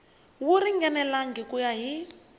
wu ringanelangi ku ya hi